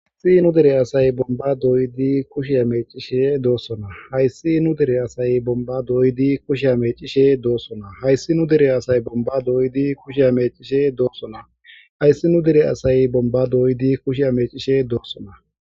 Hayssi nu dire asay bomba dooyidi kushe amecishe doossona hayssi nu dire asay bomba dooydi kushe amecishe doossona hayssi nu dire asay bomba dooydi kushe amecishe doossona hayssi nu dire asay bomba dooydi kusheamecishe doossona